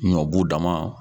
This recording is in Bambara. Ɲɔbu dama